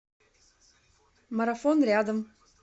марафон рядом